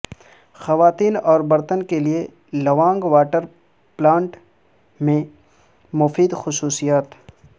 خواتین اور برتن کے لئے لوانگ واٹر پلانٹ کی مفید خصوصیات